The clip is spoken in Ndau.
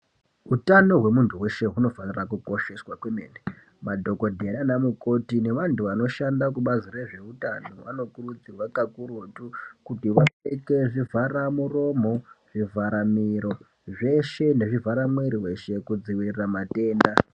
Hutano hwe muntu weshe huno fanira ku kosheswe kwemene madhokodheya nana mukoti ne vantu vano shanda kubazi rezve utano vano kurudzirwa kakurutu kuti vapfeke zvivhara muromo zvivhara miro zveshe nezvi vhara mwiri weshe ku dzivirira matenda.